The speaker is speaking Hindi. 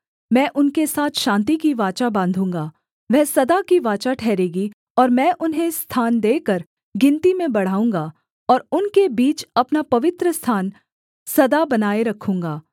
मैं उनके साथ शान्ति की वाचा बाँधूँगा वह सदा की वाचा ठहरेगी और मैं उन्हें स्थान देकर गिनती में बढ़ाऊँगा और उनके बीच अपना पवित्रस्थान सदा बनाए रखूँगा